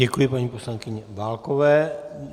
Děkuji paní poslankyni Válkové.